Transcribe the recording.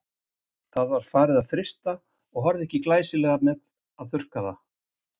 Það var farið að frysta og horfði ekki glæsilega með að þurrka það.